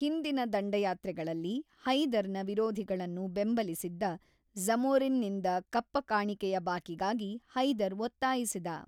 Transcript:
ಹಿಂದಿನ ದಂಡಯಾತ್ರೆಗಳಲ್ಲಿ ಹೈದರ್‌ನ ವಿರೋಧಿಗಳನ್ನು ಬೆಂಬಲಿಸಿದ್ದ ಝಮೊರಿನ್‌ನಿಂದ ಕಪ್ಪ ಕಾಣಿಕೆಯ ಬಾಕಿಗಾಗಿ ಹೈದರ್ ಒತ್ತಾಯಿಸಿದ.